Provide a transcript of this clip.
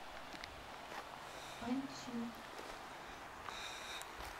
аньцю